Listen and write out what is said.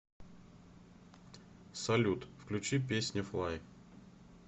салют включи песня флай